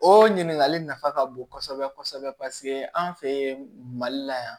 O ɲininkali nafa ka bon kosɛbɛ kosɛbɛ an fɛ mali la yan